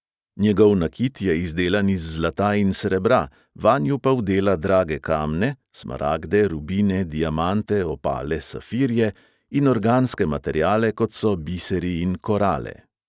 Njegov nakit je izdelan iz zlata in srebra, vanju pa vdela drage kamne (smaragde, rubine, diamante, opale, safirje) in organske materiale, kot so biseri in korale.